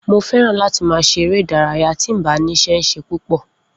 Mo feran láti ma ṣe eré ìdárayá ti mbá nise ṣe pupo